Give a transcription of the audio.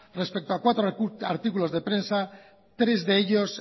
respecto a cuatro artículos de prensa tres de ellos